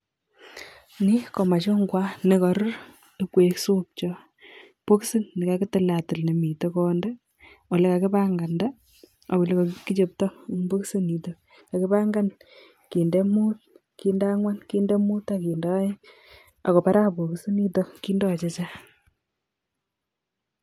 Ni ko machungwat ne karur ipkoip supchot, bokisit nekakitiltil nemitei konyik, ole kakipankanda ak ole kikachopto eng bokisit nito. Kakipankan kinde muut, kinde angwan, kinde muut ak kinde aeng ako para bokisit nito kindo chechang.